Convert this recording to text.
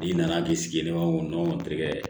I nana k'i sigilen bɛ ɲɔgɔn te kɛ